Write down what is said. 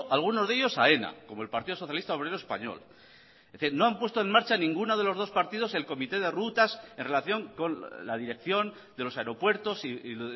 algunos de ellos aena como el partido socialista obrero español no han puesto en marcha ninguno de los dos partidos el comité de rutas en relación con la dirección de los aeropuertos y